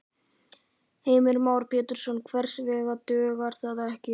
Heimir Már Pétursson: Hvers vegna dugar það ekki?